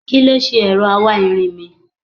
Kí ló ṣe ẹ̀rọ awáirin mi?